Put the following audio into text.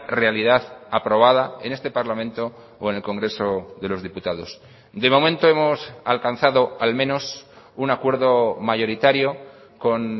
realidad aprobada en este parlamento o en el congreso de los diputados de momento hemos alcanzado al menos un acuerdo mayoritario con